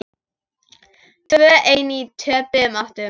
Tvö ein í töpuðum áttum.